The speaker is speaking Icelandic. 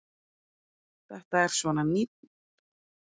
Þetta er svona nýr tónn.